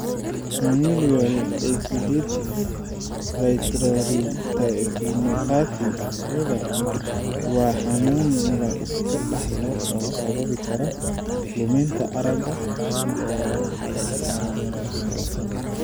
Familial exudative vitreoretinopathy (FEVR) waa xanuun la iska dhaxlo oo sababi kara luminta aragga oo horumarsan.